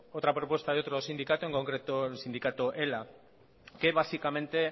otra propuesta de otro sindicato en concreto el sindicato ela que básicamente